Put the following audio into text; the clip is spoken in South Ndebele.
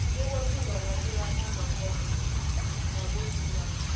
bekwafika la sebakhamba khona ngabodumbana